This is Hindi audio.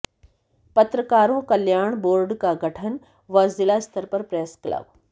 पत्रकारों कल्याण बोर्ड का गठन व जिला स्तर पर प्रेस क्लब